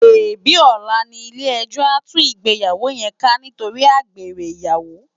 Sébi òlá ni ilé èjò á tú igbéyàwó yén ká nitóri ágbéré iyàwó?